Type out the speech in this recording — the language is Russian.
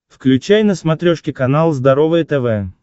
включай на смотрешке канал здоровое тв